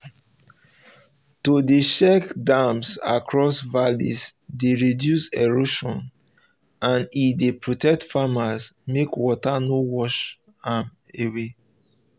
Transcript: to dey check dams um across valleys dey reduce erosion and e dey protect farmland make water no wash am away